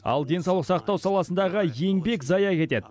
ал денсаулық сақтау саласындағы еңбек зая кетеді